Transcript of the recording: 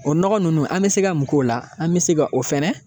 O nɔgɔ nunnu, an bɛ se ka mun k'o la, an bɛ se ka o fɛnɛ